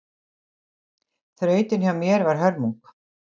Þrautin hjá mér var hörmung